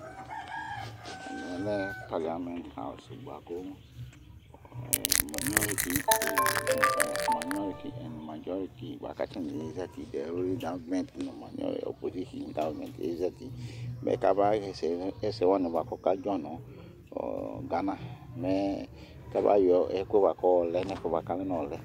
ɛmɛ lɛ Parliament house bʋakʋ minority and majority bʋakʋ atani ɛzati opposition nʋ government ɛzati mɛ kama yɛsɛ, mɛ ɛsɛ wanikʋ ɔka dzɔ nʋ Ghana mɛ ka bayɔ ɛkʋɛ bʋakʋ ɔlɛ nʋ ɛƒʋɛ bʋakʋ alɛnʋ ɔlɛ